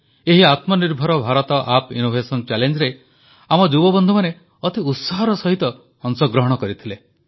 ଏହି Atmanirbhar Bharat app innovation ଚ୍ୟାଲେଞ୍ଜରେ ଆମ ଯୁବବନ୍ଧୁମାନେ ଅତି ଉତ୍ସାହର ସହିତ ଅଂଶଗ୍ରହଣ କରିଥିଲେ